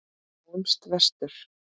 Sjáum vestur.